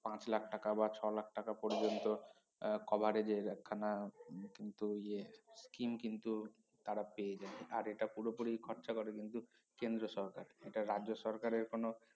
পাঁচ লাখ টাকা বা ছ লাখ টাকা পর্যন্ত আহ coverage এর এক খানা কিন্তু ইয়ে scheme কিন্তু তারা পেয়ে যায় আর এটা পুরোপুরি খরচা করে কিন্তু কেন্দ্র সরকার এটা রাজ্য সরকারের কোনো